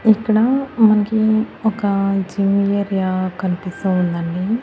ఇక్కడ మనకి ఒక జోన్ ఏరియా కనిపిస్తూ ఉందండి.